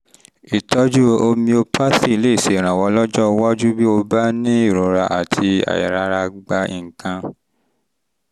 ìtọ́jú homeopathy lè ṣèrànwọ́ lọ́jọ́ iwájú bó o bá ń ní ìrora àti àìrára gba nǹkan